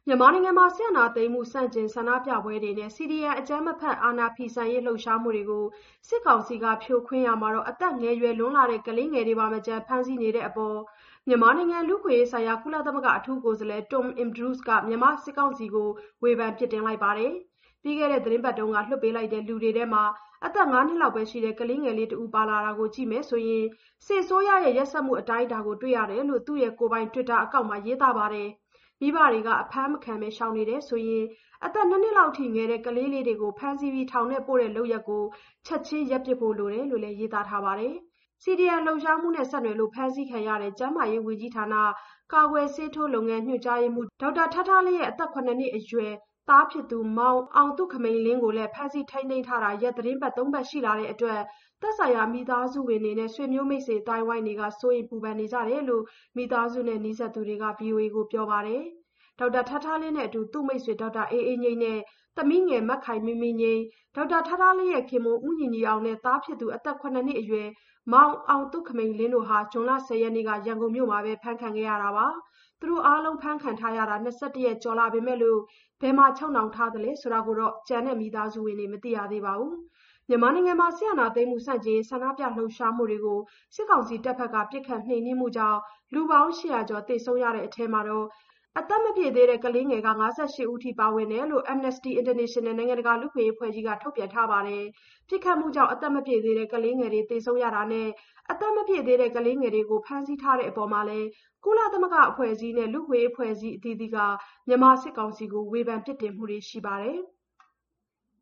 မြန်မာနိုင်ငံ စစ်အာဏာသိမ်းမှု ဆန္ဒပြပွဲတွေနဲ့ CDM အကြမ်းမဖက် အာဏာဖီဆန်ရေး လှုပ်ရှားမှုတွေကို စစ်ကောင်စီက ဖြိုခွင်းရာမှာ အသက်ငယ်ရွယ်လွန်းတဲ့ ကလေးငယ်တွေကိုပါမချန် ဖမ်းဆီးနေတဲ့အပေါ် မြန်မာနိုင်ငံ လူ့အခွင့်အရေးဆိုင်ရာ ကုလသမဂ္ဂ အထူးကိုယ်စားလှယ် Tom Andrews က မြန်မာစစ်ကောင်စီကို ဝေဖန်ပြစ်တင်ပါတယ်။ ပြီးခဲ့တဲ့သီတင်းပတ်က လွှွတ်ပေးလိုက်တဲ့ လူတွေထဲမှာ အသက် ၅ နှစ်အရွယ် ကလေးငယ်တဦး ပါလာတာကို ကြည့်မယ်ဆိုရင် စစ်အစိုးရရဲ့ ရက်စက်မှု အတိုင်းအတာကို တွေ့ရတယ်လို့ သူ့ကိုယ်ပိုင် တွစ်တာအကောင့်ကနေ ရေးသားလိုက်တာပါ။ မိဘတွေက အဖမ်းမခံဘဲ ရှောင်နေတယ်ဆိုရင် အသက် ၂ နှစ်လောက်အထိ ငယ်တဲ့ ကလေးတွေကို ဖမ်းဆီးထောင်ထဲပို့တဲ့ လုပ်ရပ်တွေကို ချက်ချင်းရပ်ပစ်ဖို့ လိုတယ်လို့လည်း ရေးသားထားပါတယ်။ CDM လှုပ်ရှားမှုနဲ့ ဆက်နွှယ်လို့ ဖမ်းဆီးခံခဲ့ရတဲ့ ကျန်းမာရေးဝန်ကြီးဌာန ကာကွယ်ဆေးထိုးလုပ်ငန်း ညွှန်ကြားရေးမှူး ဒေါက်တာထားထားလင်းရဲ့ အသက် ၇ နှစ်အရွယ် သားဖြစ်သူ မောင်အောင်သုခမိန်လင်းကိုလည်း ဖမ်းဆီးထိန်းသိမ်းထားတာ ရက်သီတင်းပတ်သုံးပတ် ရှိလာတဲ့အတွက်လည်း သက်ဆိုင်ရာ မိသားစုဝင်တွေနဲ့ ဆွေမျိုးမိတ်ဆွေ အသိုင်းအဝိုင်းက စိုးရိမ်ပူပန်နေကြတယ်လို့ မိသားစုနဲ့ နီးစပ်သူတဦးက ဗွီအိုအေကို ပြောပါတယ်။ ဒေါက်တာထားထားလင်းနဲ့အတူ သူ့မိတ်ဆွေ ဒေါက်တာအေးအေးငြိမ်းနဲ့ သမီးငယ် မခိုင်မင်းမင်းငြိမ်း၊ ဒေါက်တာထားထားလင်းရဲ့ခင်ပွန်း ဦးညီညီအောင်နဲ့ သားဖြစ်သူ အသက် ၇ နှစ်အရွယ် မောင်အောင်သုခမိန်လင်းတို့ဟာ ဇွန်လ ၁၀ ရက်နေ့ ရန်ကုန်မြို့မှာပဲ အဖမ်းခံခဲ့ရတာပါ။ သူတို့အားလုံး အဖမ်းခံရတာ ၂၁ ရက်ကျော်ရှိလာပေမယ့် ဘယ်မှာချုပ်နှောင်ထားလဲ ဆိုတာကိုပါ ကျန်မိသားစုဝင်တွေ မသိရသေးဘူးလို့လည်း ပြောပါတယ်။ မြန်မာနိုင်ငံတွင်း စစ်အာဏာသိမ်းမှု ဆန့်ကျင်ရေး ဆန္ဒပြ လှုပ်ရှားမှုတွေကို စစ်ကောင်စီတပ်တွေက ပစ်ခတ်နှိမ်နင်းတာကြောင့် လူပေါင်း ၈၀၀ ကျော် သေဆုံးရတဲ့အထဲ အသက်မပြည့်သေးတဲ့ ကလေးလူငယ် ၅၈ ဦး ပါဝင်တယ်လို့ Amnesty International နိုင်ငံတကာ လူ့အခွင့်အရေး အဖွဲ့ကြီးကလည်း ထုတ်ပြန်ထားပါတယ်။ ပစ်ခတ်မှုကြောင့် အသက်မပြည့်သေးတဲ့ ကလေးငယ်တွေ သေဆုံးရတာနဲ့ အသက်မပြည့်တဲ့ ကလေးငယ်တွေကို ဖမ်းဆီးထားတဲ့ အပေါ်မှာလည်း ကုလသမဂ္ဂ အဖွဲ့အစည်းတွေနဲ့ လူ့အခွင့်အရေး အဖွဲ့အစည်း အသီးသီးက မြန်မာစစ်ကောင်စီကို ဝေဖန်ပြစ်တင်မှုတွေ ရှိပါတယ်။